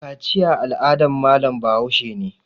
Kaciya al'adan malam Bahaushe ne